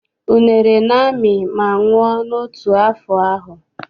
Unere na-amị ma nwụọ n'otu afọ ahụ.